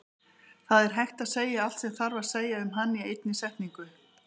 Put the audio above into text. Það er hægt að segja allt sem þarf að segja um hann í einni setningu.